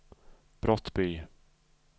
Brottby